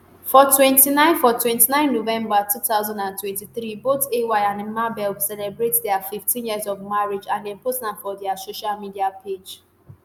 for 29 for 29 november 2023 both ay and mabel celebrate dia 15 years of marriage and dem post am for dia social media page.